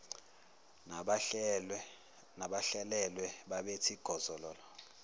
nabahlwelwe babethi gozololo